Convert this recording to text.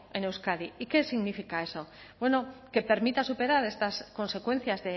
en euskadi y qué significa eso bueno que permita superar estas consecuencias